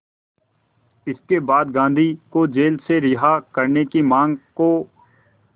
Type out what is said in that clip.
इसके बाद गांधी को जेल से रिहा करने की मांग को